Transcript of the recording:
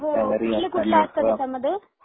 कुठल, कुठल असत त्याच्यामध्ये?